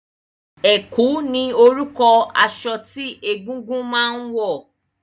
Ẹ̀kú ni orúkọ aṣọ tí egúngún máa ń wọ̀